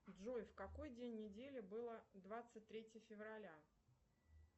джой в какой день недели было двадцать третье февраля